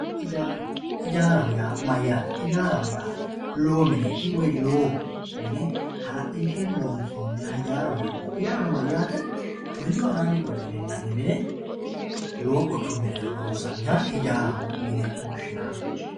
ijaara ijaaraho yaa mayaate ijaaraho lowo mineeti woy lowo mine hala'linshe loonsooniha ijaaraho yinanni yaano mayaate mini anaani qole minanni mine lowo quchumi mereero lonsaniha ijaaraho yine woshshinanni